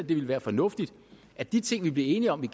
det ville være fornuftigt at de ting vi blev enige om